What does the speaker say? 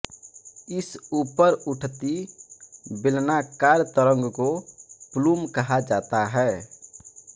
इस ऊपर उठती बेलनाकार तरंग को प्लूम कहा जाता है